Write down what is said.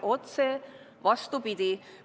Otse vastupidi!